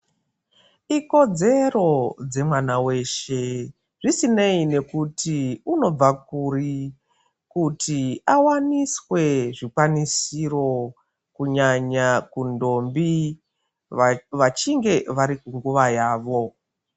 Ikodzero dze mwana weshe zvisinei nekuti unobva kuri kuti awaniswe zvi kwanisiro kunyanya ku ndombi vachinge vari ku nguva yavo.